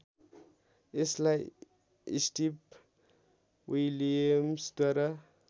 यसलाई स्टिभ विलियम्सद्वारा